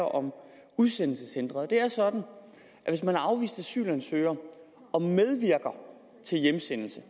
om udsendelseshindring og det er sådan at hvis man er afvist asylansøger og medvirker til hjemsendelse